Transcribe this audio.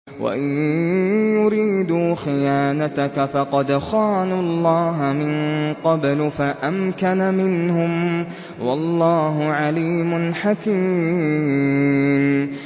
وَإِن يُرِيدُوا خِيَانَتَكَ فَقَدْ خَانُوا اللَّهَ مِن قَبْلُ فَأَمْكَنَ مِنْهُمْ ۗ وَاللَّهُ عَلِيمٌ حَكِيمٌ